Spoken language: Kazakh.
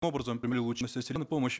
образом помощь